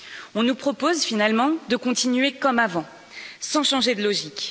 On nous propose finalement de continuer comme avant, sans changer de logique.